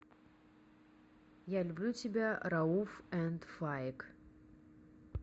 я люблю тебя рауф энд фаик